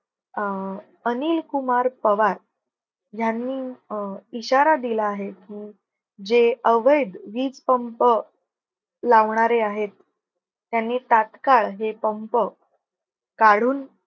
अं अनिलकुमार पवार ह्यांनी अं इशारा दिला आहे. जे अवैध वीज पंप लावणारे आहेत. त्यांनी तात्काळ हे पंप काढून